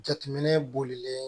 Jateminɛ bolilen